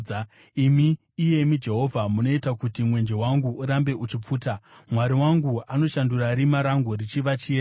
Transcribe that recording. Imi, iyemi Jehovha, munoita kuti mwenje wangu urambe uchipfuta; Mwari wangu anoshandura rima rangu richiva chiedza.